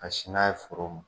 Ka sin n'a ye foro ma.